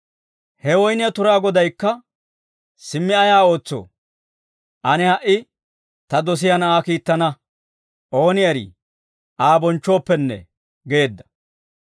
«He woyniyaa turaa Godaykka, ‹Simmi ayaa ootsoo? Ane ha"i ta dosiyaa na'aa kiittana; ooni eri Aa bonchchooppenne› geedda.